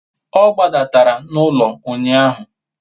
o gbadara n'ulo unyahu